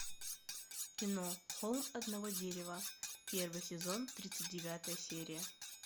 кино холм одного дерева первый сезон тридцать девятая серия